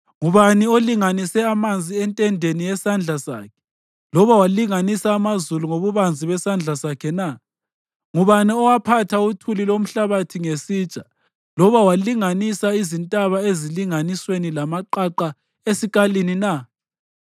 Ngubani olinganise amanzi entendeni yesandla sakhe, loba walinganisa amazulu ngobubanzi besandla sakhe na? Ngubani owaphatha uthuli lomhlabathi ngesitsha loba walinganisa izintaba ezilinganisweni lamaqaqa esikalini na?